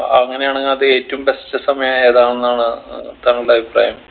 അങ്ങനെ ആണെങ് അത് ഏറ്റവും best സമയം ഏതാണ് എന്നാണ് താങ്കളുടെ അഭിപ്രായം